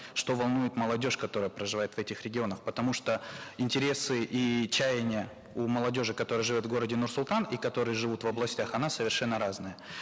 что волнует молодежь которая проживает в этих регионах потому что интересы и чаяния у молодежи которая живет в городе нур султан и которые живут в областях она совершенно разная